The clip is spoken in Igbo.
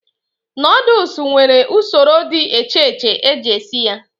Nodlesu nwere usoro dị echeche eji esi ya